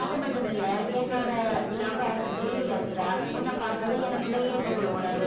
அது மட்டும் இல்ல என்னோட lover டெல்லில இருக்குறா உன்னை பார்த்ததும் எனக்குள்ள ஏதோ ஒரு உணர்வு